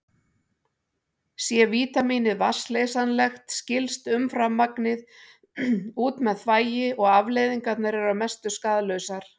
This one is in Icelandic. Sé vítamínið vatnsleysanlegt skilst umframmagnið út með þvagi og afleiðingarnar eru að mestu skaðlausar.